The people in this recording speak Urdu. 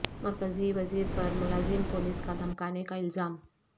مرکزی وزیر پر ملازم پولیس کا دھمکانے کا الزام